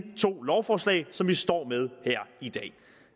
to lovforslag som vi står med her i dag